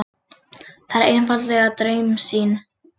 Það er einfaldlega draumsýn.